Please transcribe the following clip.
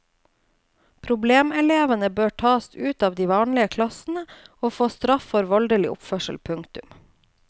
Problemelevene bør tas ut av de vanlige klassene og få straff for voldelig oppførsel. punktum